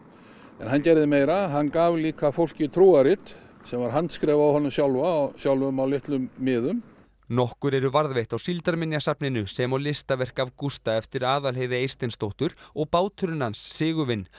en hann gerði meira hann gaf fólki trúarrit sem voru handskrifuð af honum sjálfum á sjálfum á litlum miðum nokkur eru varðveitt á Síldarminjasafninu sem og listaverk af Gústa eftir Aðalheiði Eysteinsdóttur og báturinn hans Sigurvin